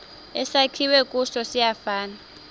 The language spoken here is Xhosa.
esakhiwe kuso siyafana